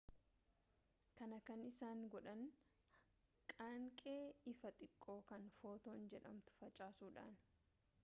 kana kan isaan godhan qaanqee ifaa xiqqoo kan footoon jedhamtu facaasuudhaani